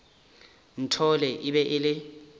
nthole e be e le